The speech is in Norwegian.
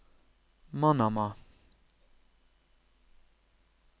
Manama